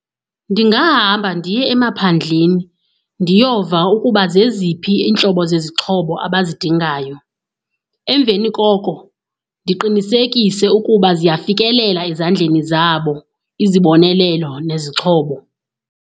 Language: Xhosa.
Ndingahamba ndiye emaphandleni ndiyova ukuba zeziphi iintlobo zezixhobo abazidingayo. Emveni koko ndiqinisekise ukuba ziyafikeleleka ezandleni zabo izibonelelo nezixhobo.